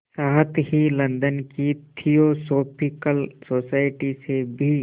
साथ ही लंदन की थियोसॉफिकल सोसाइटी से भी